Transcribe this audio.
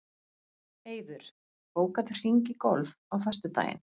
Eiður, bókaðu hring í golf á föstudaginn.